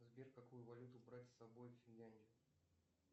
сбер какую валюту брать с собой в финляндию